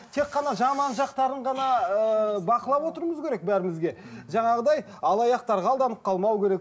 тек қана жаман жақтарын ғана ыыы бақылап отыруымыз керек бәрімізге жаңағыдай алаяқтарға алданып қалмау керек